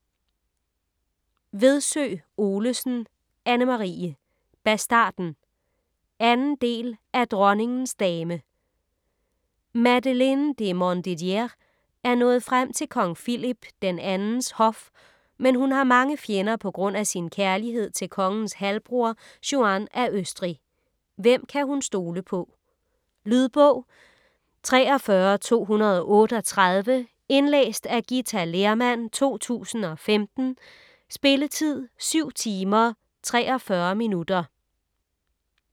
Vedsø Olesen, Anne-Marie: Bastarden 2. del af Dronningens dame. Madeleine de Montdidier er nået frem til kong Philip II's hof, men hun har mange fjender på grund af sin kærlighed til kongens halvbror Juan af Østrig. Hvem kan hun stole på? . Lydbog 43238 Indlæst af Githa Lehrmann, 2015. Spilletid: 7 timer, 43 minutter.